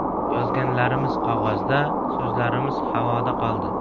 Yozganlarimiz qog‘ozda, so‘zlarimiz havoda qoldi.